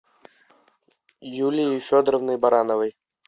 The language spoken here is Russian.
юлией федоровной барановой